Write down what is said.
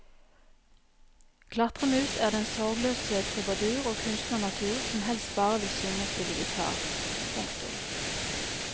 Klatremus er den sorgløse trubadur og kunstnernatur som helst bare vil synge og spille gitar. punktum